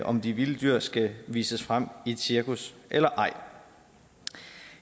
om de vilde dyr skal vises frem i et cirkus eller ej